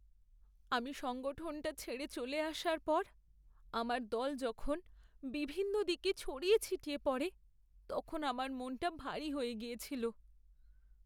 আমি সংগঠনটা ছেড়ে চলে আসার পর, আমার দল যখন বিভিন্ন দিকে ছড়িয়ে ছিটিয়ে পড়ে, তখন আমার মনটা ভারী হয়ে গিয়েছিল।